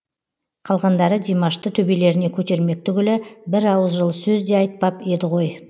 қалғандары димашты төбелеріне көтермек түгілі бір ауыз жылы сөз де айтпап еді ғой